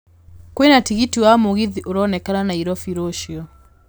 kwĩna tigiti wa mũgithi ũronekana nairobi rũcio